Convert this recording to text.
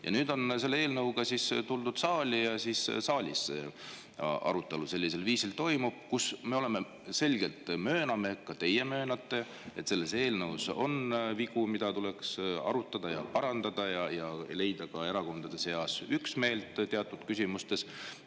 Ja nüüd on selle eelnõuga siis tuldud saali ja saalis toimub arutelu, kus me selgelt mööname, ka teie möönate, et selles eelnõus on vigu, mille üle tuleks arutada ja mida tuleks parandada, ja tuleks leida ka erakondade seas üksmeel teatud küsimustes.